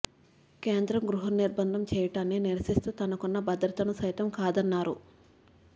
కేంద్రం గృహ నిర్బంధం చేయటాన్ని నిరసిస్తూ తనకున్న భద్రతను సైతం కాదన్నారు